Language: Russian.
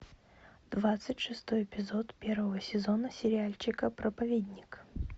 двадцать шестой эпизод первого сезона сериальчика проповедник